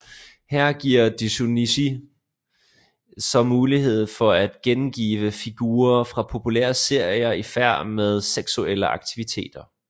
Her giver doujinshi så mulighed for at gengive figurer fra populære serier i færd med seksuelle aktiviteter